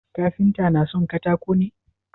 Kafinta na son katako ne?